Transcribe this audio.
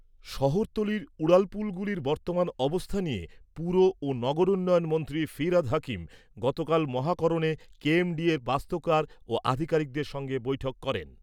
শহরতলির উড়ালপুলগুলির বর্তমান অবস্থা নিয়ে পুর ও নগরোন্নয়ন মন্ত্রী ফিরহাদ হাকিম গতকাল মহাকরণে কেএমডিএর বাস্তুকার ও আধিকারিকদের সঙ্গে বৈঠক করেন।